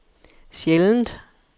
sjældent